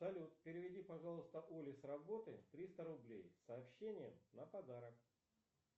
салют переведи пожалуйста оле с работы триста рублей с сообщением на подарок